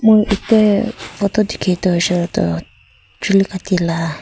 moi itia photo dikhi toh hoishe koile toh chuli kati laga.